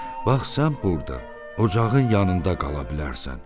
Bax sən burda ocağın yanında qala bilərsən.